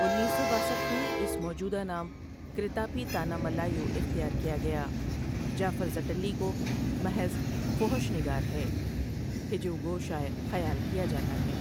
انیس سو باسٹھ میں اس موجودہ نام کریتاپی تانہ ملایو اختیار کیا گیا جعفر زٹلی کو محض فحش نگار ہے ہجو گو شاعر خیال کیا جاتا ہے ۔